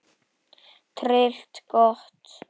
Tryllt gott!